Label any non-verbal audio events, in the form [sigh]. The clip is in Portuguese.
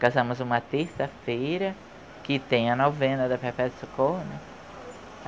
Casamos uma terça-feira, que tem a novena da [unintelligible] Socorro, né?